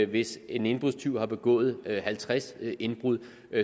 hvis en indbrudstyv har begået halvtreds indbrud